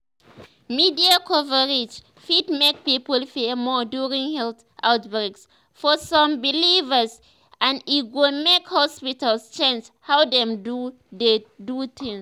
media coverage fit make people fear more during health outbreaks for some believers and e go make hospitals change how dem dey do tins."